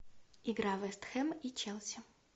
игра вест хэм и челси